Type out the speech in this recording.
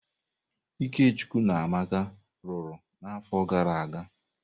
Ikechukwu na Amaka lụrụ n'afọ gara aga.